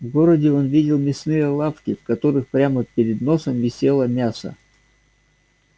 в городе он видел мясные лавки в которых прямо перед носом висело мясо